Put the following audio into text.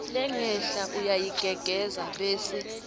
lengenhla uyayigengedza bese